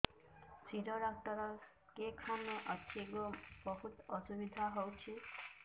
ଶିର doctor କେଖାନେ ଅଛେ ଗୋ ବହୁତ୍ ଅସୁବିଧା ହଉଚି